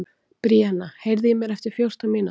Bríanna, heyrðu í mér eftir fjórtán mínútur.